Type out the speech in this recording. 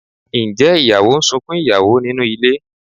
Ǹjẹ́ ìyàwó ń sunkún ìyàwó nínú ilé?